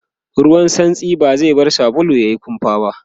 ruwan santsin ba zai bar sabulun yayi kumfa ba